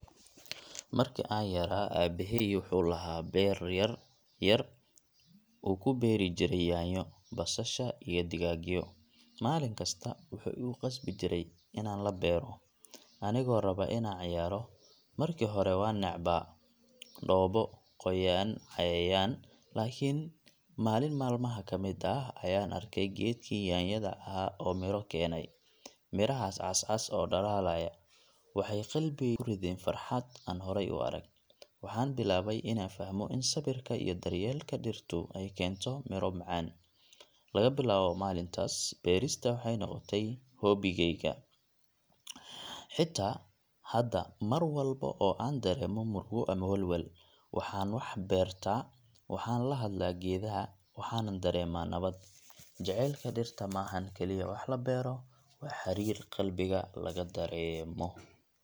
Markii aan yaraa, aabbahay wuxuu lahaa beero yaryar oo uu ku beeri jiray yaanyo, basasha iyo digaagyo. Maalin kasta wuxuu igu qasbi jiray inaan la beero, anigoo raba inaan ciyaaro. Markii hore waan necbaa dhoobo, qoyaan, cayayaan! Laakiin maalin maalmaha ka mid ah ayaan arkay geedkii yaanyada ahaa oo midho keenay. Midhahaas cascas oo dhalaalaya waxay qalbigeyga ku rideen farxad aan horey u arag. Waxaan bilaabay inaan fahmo in sabirka iyo daryeelka dhirtu ay keento miro macaan. Laga bilaabo maalintaas, beerista waxay noqotay hobbigeyga. Xitaa hadda, mar walba oo aan dareemo murugo ama walwal, waxaan u baxaa beerta, waxaan la hadlaa geedaha, waxaanan dareemaa nabad. Jacaylka dhirta ma ahan kaliya wax la beero, waa xiriir qalbiga laga dareemo.